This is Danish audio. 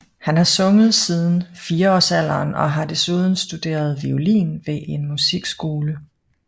Han har sunget siden fireårsalderen og har desuden studeret violin ved en musikskole